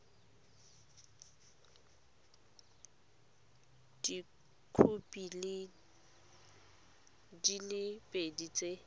dikhopi di le pedi tse